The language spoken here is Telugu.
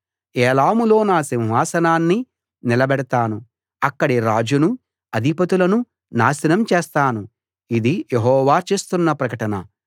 ఏలాములో నా సింహాసనాన్ని నిలబెడతాను అక్కడి రాజునూ అధిపతులనూ నాశనం చేస్తాను ఇది యెహోవా చేస్తున్న ప్రకటన